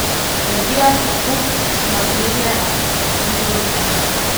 Razvija se kup napredne senzorike.